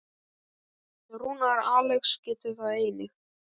Rúnar Alex getur það einnig.